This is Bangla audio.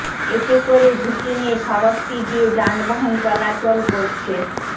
এতে করে ঝুঁকি নিয়ে সড়কটি দিয়ে যানবাহন চলাচল করছে